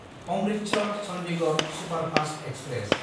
अमृतसर–चन्दिगड़ superfast express